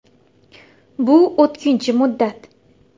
Bu o‘tkinchi muddat.